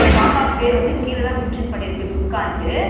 பாப்பாக்கு பேரு வந்து கீழ தா mention பண்ணியிருக்கு துர்காண்டு